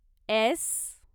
S